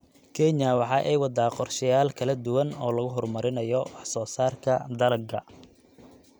Kenya waxa ay waddaa qorshayaal kala duwan oo lagu horumarinayo wax soo saarka dalagga.